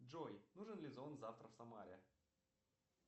джой нужен ли зонт завтра в самаре